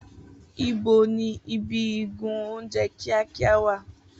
Ibo ni ibi igun oúnjẹ kíákíá wà?